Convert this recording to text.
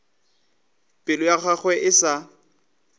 pelo ya gagwe e sa